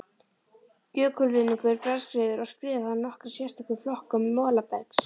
Jökulruðningur, bergskriður og skriður hafa nokkra sérstöðu við flokkun molabergs.